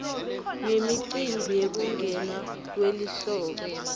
nemicimbi yekungena kwelihlobo